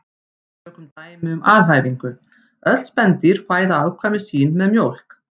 Tökum dæmi um alhæfingu: Öll spendýr fæða afkvæmi sín með mjólk